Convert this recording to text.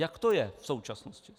Jak to je v současnosti?